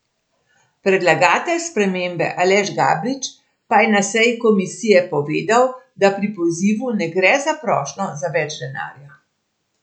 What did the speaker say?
Predlagatelj spremembe Aleš Gabrič pa je na seji komisije povedal, da pri pozivu ne gre za prošnjo za več denarja.